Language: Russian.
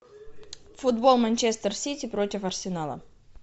футбол манчестер сити против арсенала